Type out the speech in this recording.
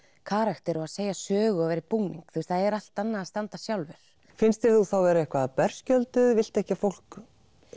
karakter að segja sögu í búning það er allt annað að standa þarna sjálfur finnst þér þú vera eitthvað berskjölduð viltu ekki að fólk